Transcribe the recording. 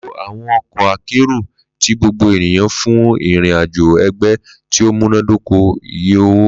Lo awọn ọkọ akero ti gbogbo eniyan fun irin-ajo ẹgbẹ ti o munadoko iye owo.